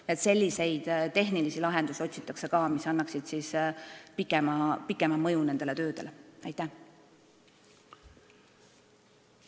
Nii et otsitakse ka selliseid tehnilisi lahendusi, mis annaksid nendele töödele pikema mõju.